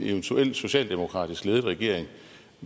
eventuel socialdemokratisk ledet regering